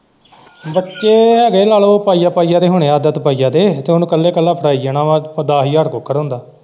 ਬੱਚੇ ਹੈ ਗੇ ਨਾਲੇ ਪਾਈਆ ਪਾਈਆ ਦੇ ਹੁਣੇ ਹੈ ਅੱਧ ਅੱਧ ਪਈਆ ਦੇ ਤੇ ਉਹਨੇ ਇੱਕਲਾ ਇੱਕਲਾ ਫੜਾਈ ਜਾਣਾ ਹੈ ਤੇ ਦਸ ਹਜਾਰ ਕੁੱਕੜ ਹੁੰਦਾ।